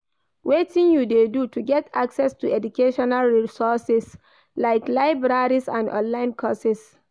Wetin you dey do to get access to educational resources like libraries and online courses?